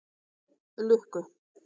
Lukku